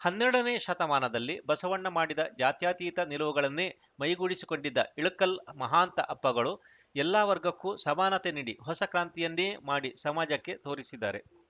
ಹನ್ನೆರಡನೇ ಶತಮಾನದಲ್ಲಿ ಬಸವಣ್ಣ ಮಾಡಿದ ಜಾತ್ಯಾತೀತ ನಿಲುವುಗಳನ್ನೇ ಮೈಗೂಡಿಸಿಕೊಂಡಿದ್ದ ಇಳಕಲ್‌ ಮಹಾಂತ ಅಪ್ಪಗಳು ಎಲ್ಲ ವರ್ಗಕ್ಕೂ ಸಮಾನತೆ ನೀಡಿ ಹೊಸ ಕ್ರಾಂತಿಯನ್ನೇ ಮಾಡಿ ಸಮಾಜಕ್ಕೆ ತೋರಿಸಿದ್ದಾರೆ